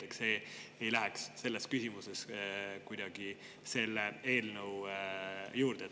Nii et see ei läheks kuidagi selle eelnõu alla.